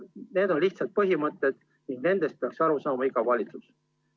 Need on lihtsad põhimõtted ning nendest peaks aru saama iga valitsus.